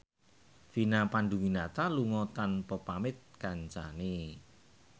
Vina Panduwinata lunga tanpa pamit kancane